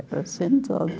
Eu ficava sentada.